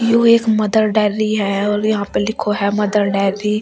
यह एक Mother Dairy है और यहां पे लिखो है मदर डेयरी ।